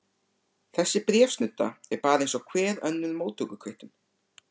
Þessi bréfsnudda er bara eins og hver önnur móttökukvittun.